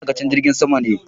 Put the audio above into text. Ni ma'aikacin jirgin sama ne.